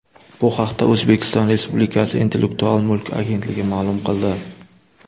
Bu haqda O‘zbekiston respublikasi Intellektual mulk agentligi ma’lum qildi .